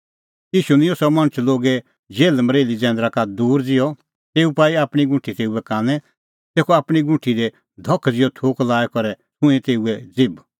ईशू निंयं सह मणछ लोगे जेल्हमरेल्ही जैंदरा का दूर ज़िहअ तेऊ पाई आपणीं गुंठी तेऊए कानै तेखअ आपणीं गुंठी दी धख ज़िहअ थूक लाई करै छ़ुंईं तेऊए ज़िभ